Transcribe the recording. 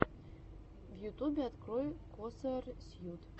в ютубе открой косарсьют